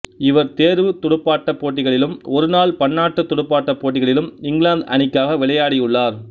இவர் தேர்வுத் துடுப்பாட்டப் போட்டிகளிலும் ஒருநாள் பன்னாட்டுத் துடுப்பாட்டப் போட்டிகளிலும் இங்கிலாந்து அனிக்காக விளையாடியுள்ளார்